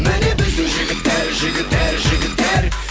міне біздің жігіттер жігіттер жігіттер